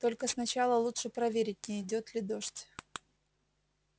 только сначала лучше проверить не идёт ли дождь